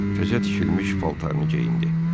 Təzə tikilmiş paltarını geyindi.